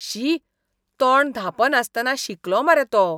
शी, तोंड धांपनासतना शिंकलो मरे तो.